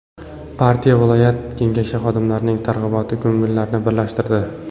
Partiya viloyat Kengashi xodimlarining targ‘iboti ko‘ngillilarni birlashtirdi.